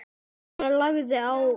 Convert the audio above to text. Gunnar lagði á.